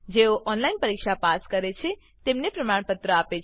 જેઓ ઓનલાઈન પરીક્ષા પાસ કરે છે તેઓને પ્રમાણપત્રો આપે છે